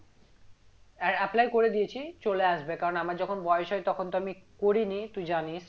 Apply করে দিয়েছি চলে আসবে কারন আমার যখন বয়স হয় তখন তো আমি করিনি তুই জানিস